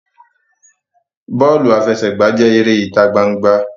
Bọọlu afẹsẹgba jẹ èrè ita gbangba.